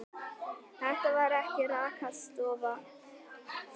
Þetta var ekki rakarastofa.